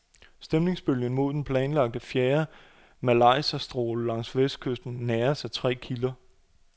Stemningsbølgen mod den planlagte fjerde majlaserstråle langs vestkysten næres af tre kilder.